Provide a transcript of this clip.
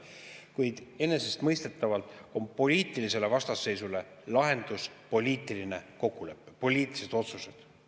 Kuid enesestmõistetavalt on poliitilisele vastasseisule lahendus poliitiline kokkulepe, poliitilised otsused.